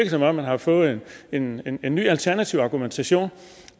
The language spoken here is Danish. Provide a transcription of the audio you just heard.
som om man har fået en en ny alternativ argumentation